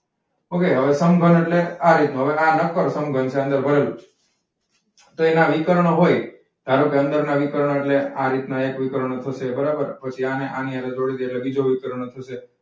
okay સમઘન એટ્લે આ રીત નુ. હવે આ નક્કર સમઘન છે અને અંદર ભરેલું છે. તો એના વિકર્ણ હોય. ધારોકે, અંદર ના વિકર્ણ એટ્લે આ રીત ના એક વિકર્ણ થશે છે બરોબર. પછી આને આની હાથે જોડી દે બીજો વિકર્ણ થશે.